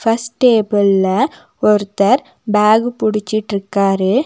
First டேபிள்ல ஒருத்தர் bag புடிச்சிட்ருக்காரு.